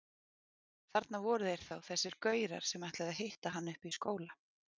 Þarna voru þeir þá þessir gaurar sem ætluðu að hitta hann uppi í skóla!